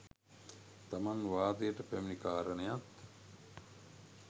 තමන් වාදයට පැමිණි කාරණයත්,